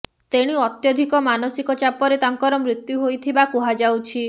ତେଣୁ ଅତ୍ୟଧିକ ମାନସିକ ଚାପରେ ତାଙ୍କର ମୃତ୍ୟୁ ହୋଇଥିବା କୁହାଯାଉଛି